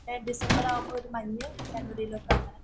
ഡിസംബറിലാകുമ്പോള്‍ ഒരു മഞ്ഞ്. ജനുവരിലൊക്കെ അങ്ങനെ